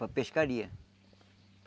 Para pescaria.